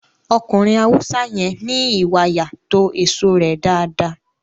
Ọkùnrin Haúsá yẹn ní ìwàyà to èso rẹ dáadáa